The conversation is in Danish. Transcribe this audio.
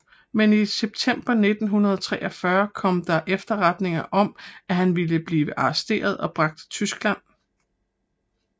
Men i september 1943 kom der efterretninger om at han ville blive arresteret og bragt til Tyskland